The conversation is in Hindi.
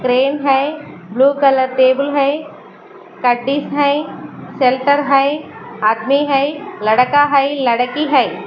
फ्रेम है ब्लू कलर टेबल है है शेलटर है आदमी है लड़का है लड़की है।